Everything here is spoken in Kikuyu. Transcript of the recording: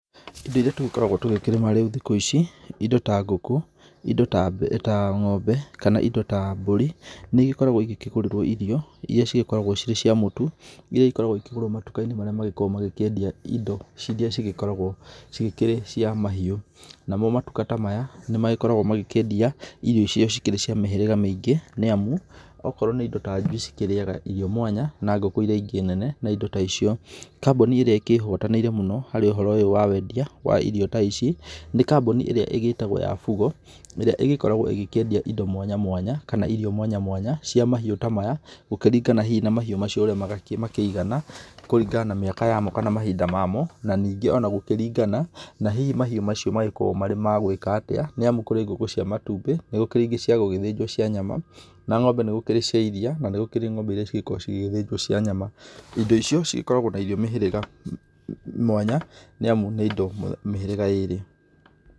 Indo iria tũgĩkoragwo tũgĩkĩrĩma rĩu thikũ ici, indo ta ngũkũ, indo ta ng'ombe, kana indo ta mbũri, nĩigĩkoragwo igĩkĩgũrĩrwo irio, iria cigĩkoragwo cirĩ ciamũtu, iria igĩkoragwo igĩkĩgũrwo matuka-inĩ marĩa magĩkoragwo magĩkĩendia indo iria cigĩkoragwo cikĩrĩ cia mahiũ. Namo matuka ta maya, nĩmagĩkoragwo magĩkĩendia irio iria cikĩrĩ cia mĩhĩrĩga mĩingĩ, nĩamu, akorwo nĩ indo ta njui cikĩrĩaga irio mwanya na ngũkũ iria ingĩ nene, na indo ta icio. Kambuni ĩrĩa ĩkĩhũranĩire mũno harĩ ũhoro ũyũ wa wendia wa irio ta ici, nĩ kambuni ĩrĩa ĩgĩtagwo ya Fugo, ĩrĩa ĩgĩkoragwo ĩkĩendia indo mwanya mwanya, kana irio mwanya mwanya cia mahiũ ta maya, gũkĩringana hihi na mahiũ macio ũrĩa makĩigana, kũringana na mĩaka yamo kana mahinda mamo, na ningĩ onagũkĩringana na hihi mahiũ macio magĩkoragwo marĩ magwĩka atĩa, nĩamu kũrĩ ngũkũ cia matumbĩ, nĩgũkĩrĩ ingĩ ciagũgĩthĩnjwo cia nyama, na ng'ombe nĩgũkĩrĩ cia iria, na nĩgũkĩrĩ ng'ombe iria cigĩkoragwo cigĩgĩthĩnjwo cia nyama indo icio, cigĩkoragwo na irio mĩhĩrĩga mwanya, nĩamu nĩ indo mĩhĩrĩga ĩrĩ.